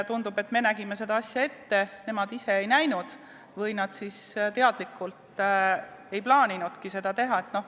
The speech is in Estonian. Tundub, et me nägime seda asja ette, nemad ise ei näinud või nad siis teadlikult ei plaaninudki seda teha.